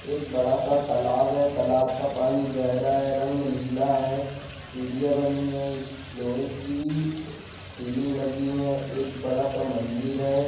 एक बड़ा-सा तालाब है| तालाब का पानी गहरा है रंग नीला है सीढ़ियां बनी है| इस लोहे की सीलिंग लगी है एक बड़ा-सा मंदिर है।